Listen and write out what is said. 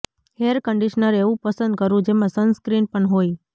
hair conditioner એવું પસંદ કરવું જેમાં સનસ્ક્રીન પણ હોય